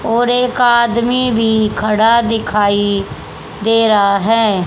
और एक आदमी भी खड़ा दिखाई दे रहा है।